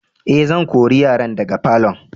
Eh, zan kore yaran daga falo'n.